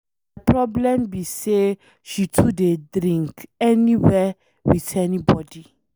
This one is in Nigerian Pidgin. My problem be say she too dey drink, anywhere with anybody.